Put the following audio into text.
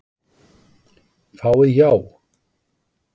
Fáið já.